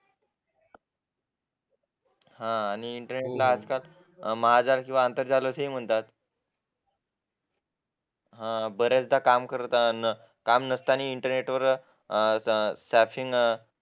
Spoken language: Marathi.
अं आणि इंटरनेटला महाजाल किंवा आंतरजाल असेही म्हणतात बऱ्याचदा इंटरनेटवर काम नसताना इंटरनेटवर